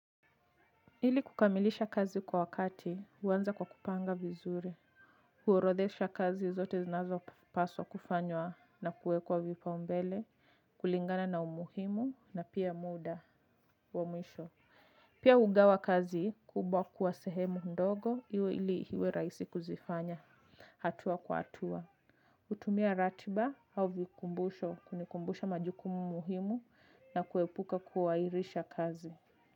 Ili kukamilisha kazi kwa wakati huanza kwa kupanga vizuri, huorodhesha kazi zote zinazopaswa kufanywa na kuwekwa vipaumbele. Kulingana na umuhimu na pia muda wa mwisho. Pia hugawa kazi kubwa kuwa sehemu ndogo iwe ili iwe rahisi kuzifanya. Hatua kwa hatua hutumia ratiba au vikumbusho kunikumbusha majukumu muhimu, na kuepuka kuhairisha kazi.